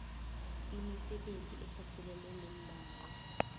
imisebenzi ephathelene neembawo